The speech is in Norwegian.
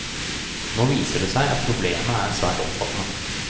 Nå viser det seg at problemet er svært omfattende.